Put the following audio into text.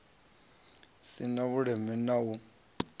si na vhuleme na u